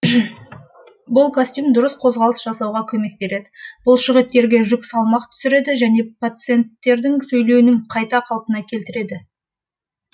бұл костюм дұрыс қозғалыс жасауға көмек береді бұлшықеттерге жүк салмақ түсіреді және пациенттердің сөйлеуінің қайта қалпына келтіреді